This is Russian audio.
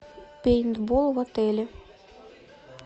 пейнтбол в отеле